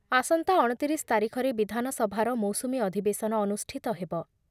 ଆସନ୍ତା ଅଣତିରିଶ ତାରିଖରେ ବିଧାନସଭାର ମୌସୁମୀ ଅଧିବେଶନ ଅନୁଷ୍ଠିତ ହେବ ।